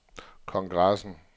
kongressen